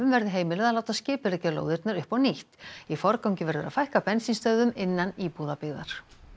verði heimilað að láta skipuleggja lóðirnar upp á nýtt í forgangi verður að fækka bensínstöðvum innan íbúðabyggðar